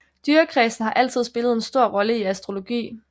Dyrekredsen har altid spillet en stor rolle i astrologi